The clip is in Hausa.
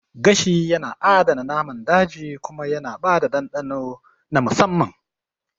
Gashi yana adana naman daji kuma yana ba da dandano na musamman